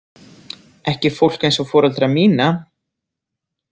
Ekki fólk eins og foreldra mína.